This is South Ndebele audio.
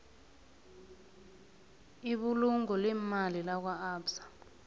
ibulungo leemali lakwaabsa